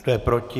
Kdo je proti?